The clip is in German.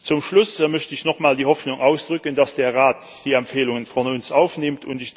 Zum Schluss möchte ich nochmal die Hoffnung ausdrücken, dass der Rat unsere Empfehlungen aufnimmt.